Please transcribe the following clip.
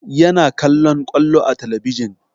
Yana kallon ƙwallo a talabijin